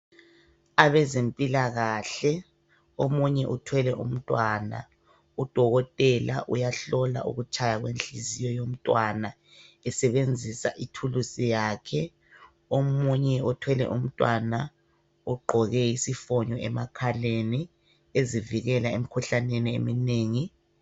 Abazempilakahle omunye uthwele umntwana udokotela uyahlola ukutshaya kwenhliziyo yomntwana esebenzisa ithuluzi lakhe omunye othwele umntwana ogqoke isifonyo emakhaleni ezivikela emkhuhlameni